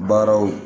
Baaraw